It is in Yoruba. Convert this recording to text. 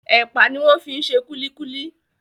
Ẹpa ni wọ́n fi ṣe kúlíkúlí.